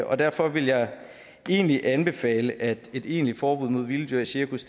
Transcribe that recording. og derfor vil jeg egentlig anbefale at et egentligt forbud mod vilde dyr i cirkus